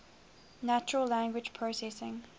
natural language processing